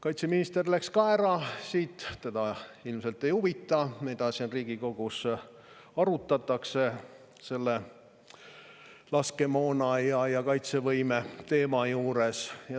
Kaitseminister läks ka ära, teda ilmselt ei huvita, mida siin Riigikogus arutatakse selle laskemoona ja kaitsevõime teema juures.